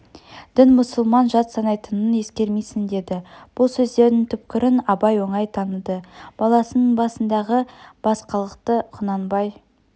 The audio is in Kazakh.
дін мұсылман жат санайтынын ескермейсің деді бұл сөздердің түкпірін абай оңай таныды баласының басындағы басқалықты құнанбай